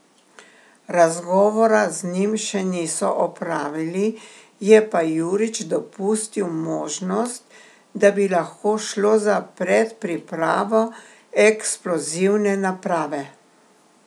Razgovora z njim še niso opravili, je pa Jurič dopustil možnost, da bi lahko šlo za predpripravo eksplozivne naprave.